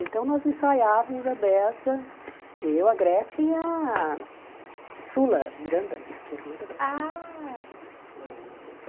Então, nós ensaiávamos a bessa, eu, a Gretchen e a Sula, Miranda, que é irmã da Gretchen. Ah